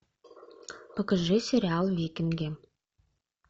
покажи сериал викинги